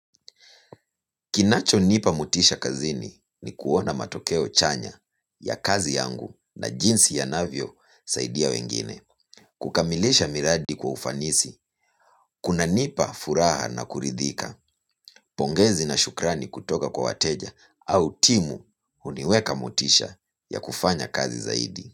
Kinacho nipa motisha kazini ni kuona matokeo chanya ya kazi yangu na jinsi ya navyo saidia wengine. Kukamilisha miradi kwa ufanisi, kuna nipa furaha na kuridhika, pongezi na shukrani kutoka kwa wateja au timu huniweka motisha ya kufanya kazi zaidi.